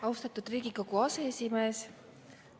Austatud Riigikogu aseesimees!